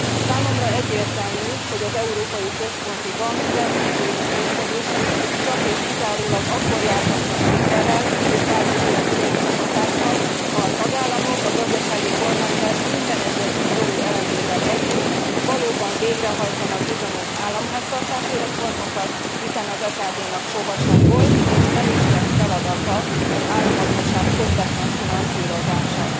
Számomra egyértelmű, hogy az Európai Központi Bank rendkívüli intézkedései csak és kizárólag akkor járhatnak sikerrel és bármiféle pozitív hatással, ha a tagállamok a gazdasági kormányzás minden egyes szigorú elemével együtt valóban végrehajtanak bizonyos államháztartási reformokat. Hiszen az EKB nak sohasem volt és nem is lesz feladata az államadósság közvetlen finanszírozása.